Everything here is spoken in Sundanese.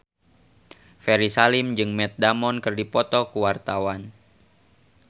Ferry Salim jeung Matt Damon keur dipoto ku wartawan